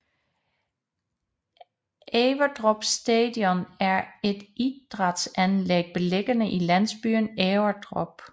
Everdrup Stadion er et idrætsanlæg beliggende i landsbyen Everdrup